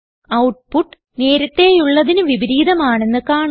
output നേരത്തെയുള്ളതിന് വിപരീതം ആണെന്ന് കാണാം